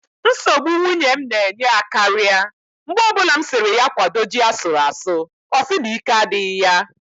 Nsogbụ nwunye m na-enye akaria mgbe o bụla m siri ya kwado ji asuru asụ ọ sị na ike adịghị ya